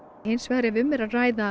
hins vegar ef um er að ræða